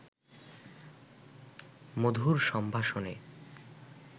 মধুর সম্ভাষণে